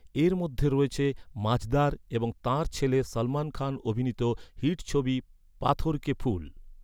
এর মধ্যে রয়েছে ‘মাঝদার’ এবং তাঁর ছেলে সলমন খান অভিনীত হিট ছবি ‘পাথর কে ফুল’।